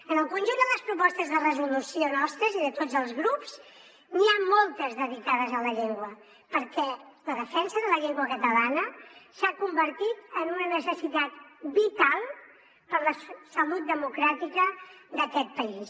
en el conjunt de les propostes de resolució nostres i de tots els grups n’hi ha moltes dedicades a la llengua perquè la defensa de la llengua catalana s’ha convertit en una necessitat vital per a la salut democràtica d’aquest país